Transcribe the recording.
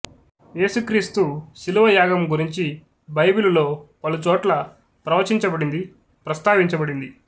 యేసు క్రీస్తు శిలువయాగం గురించి బైబిలులో పలుచోట్ల ప్రవచించబడింది ప్రస్తావించబడింది